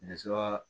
Nɛgɛso